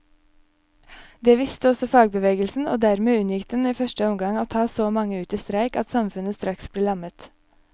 Det visste også fagbevegelsen, og dermed unngikk den i første omgang å ta så mange ut i streik at samfunnet straks ble lammet.